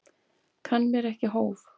Kann mér ekki hóf.